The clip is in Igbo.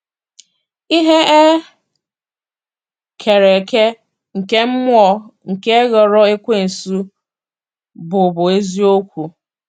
Ihe e kere eke nke mmụọ nke ghọrọ Ekwensu bụbu eziokwu.